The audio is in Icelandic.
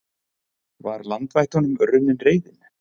Var landvættunum runnin reiðin?